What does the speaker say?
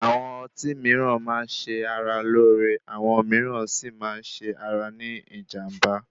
Àwọn ọtí mìíràn máa ń ṣe ara lóore, àwọn mìíràn Si máa ń ṣe ara ní ìjànbá.